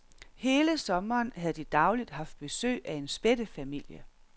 Hele sommeren havde de dagligt haft besøg af en spættefamilie.